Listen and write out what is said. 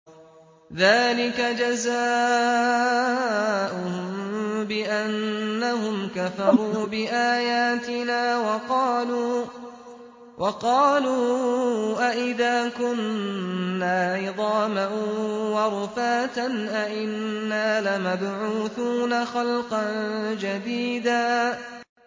ذَٰلِكَ جَزَاؤُهُم بِأَنَّهُمْ كَفَرُوا بِآيَاتِنَا وَقَالُوا أَإِذَا كُنَّا عِظَامًا وَرُفَاتًا أَإِنَّا لَمَبْعُوثُونَ خَلْقًا جَدِيدًا